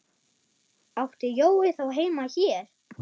Átti Jói þá heima hér?